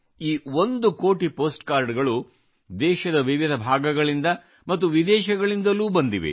ಈ ಒಂದು ಕೋಟಿ ಪೋಸ್ಟ್ ಕಾರ್ಡಗಳು ದೇಶದ ವಿವಿಧ ಭಾಗಗಳಿಂದ ಮತ್ತು ವಿದೇಶಗಳಿಂದಲೂ ಬಂದಿವೆ